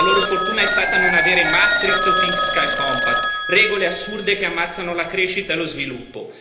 La loro fortuna è stata non avere Maastricht o Fiscal Compact regole assurde che ammazzano la crescita e lo sviluppo.